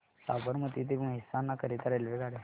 साबरमती ते मेहसाणा करीता रेल्वेगाड्या